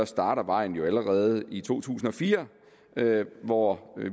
startede vejen jo allerede i to tusind og fire hvor